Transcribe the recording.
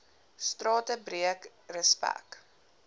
strate breek respek